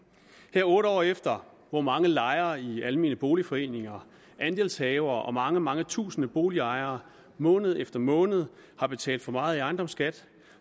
her otte år efter hvor mange lejere i almene boligforeninger andelshavere og mange mange tusinde boligejere måned efter måned har betalt for meget i ejendomsskat